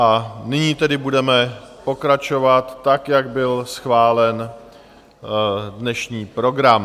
A nyní tedy budeme pokračovat tak, jak byl schválen dnešní program.